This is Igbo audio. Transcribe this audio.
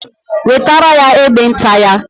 Wetere ya egbe nta ya.